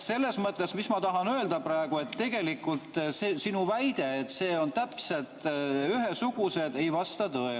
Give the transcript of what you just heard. Selles mõttes, mis ma tahan öelda praegu, et tegelikult see sinu väide, et need on täpselt ühesugused, ei vasta tõele.